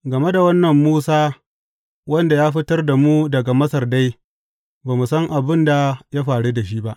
Game da wannan Musa wanda ya fitar da mu daga Masar dai, ba mu san abin da ya faru da shi ba.